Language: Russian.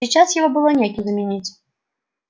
и сейчас его было некем заменить